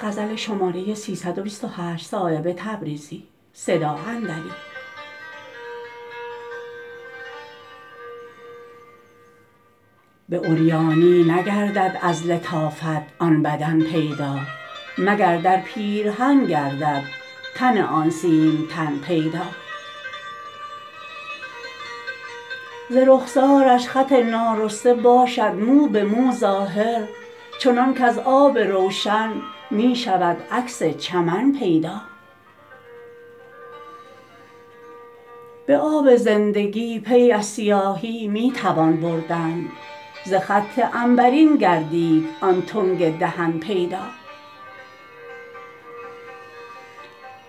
به عریانی نگردد از لطافت آن بدن پیدا مگر در پیرهن گردد تن آن سیمتن پیدا ز رخسارش خط نارسته باشد مو به مو ظاهر چنان کز آب روشن می شود عکس چمن پیدا به آب زندگی پی از سیاهی می توان بردن ز خط عنبرین گردید آن تنگ دهن پیدا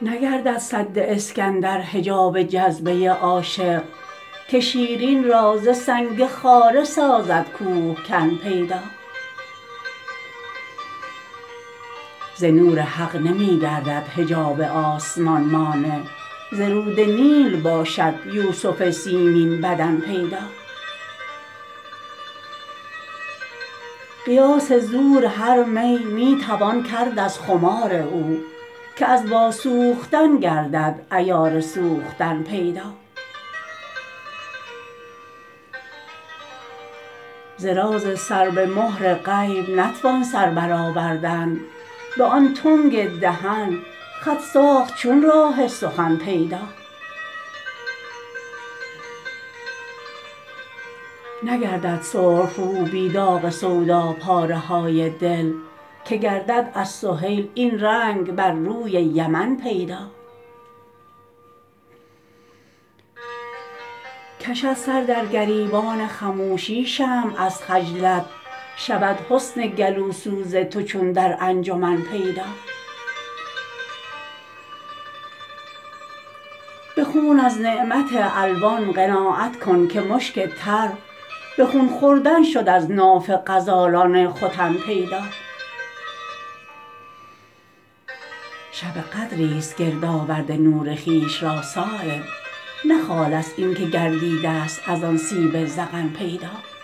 نگردد سد اسکندر حجاب جذبه عاشق که شیرین را ز سنگ خاره سازد کوهکن پیدا ز نور حق نمی گردد حجاب آسمان مانع ز رود نیل باشد یوسف سیمین بدن پیدا قیاس زور هر می می توان کرد از خمار او که از واسوختن گردد عیار سوختن پیدا ز راز سر به مهر غیب نتوان سر برآوردن به آن تنگ دهن خط ساخت چون راه سخن پیدا نگردد سرخ رو بی داغ سودا پاره های دل که گردد از سهیل این رنگ بر روی یمن پیدا کشد سر در گریبان خموشی شمع از خجلت شود حسن گلوسوز تو چون در انجمن پیدا به خون از نعمت الوان قناعت کن که مشک تر به خون خوردن شد از ناف غزالان ختن پیدا شب قدری است گردآورده نور خویش را صایب نه خال است این که گردیده است ازان سیب ذقن پیدا